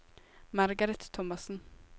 Margareth Thomassen